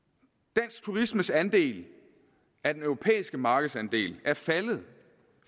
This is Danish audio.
dansk turismes andel af den europæiske markedsandel er faldet